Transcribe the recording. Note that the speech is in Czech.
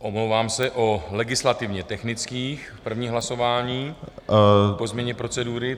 omlouvám se, o legislativně technických - první hlasování po změně procedury.